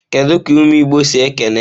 Kedu ka umu igbo si ekene?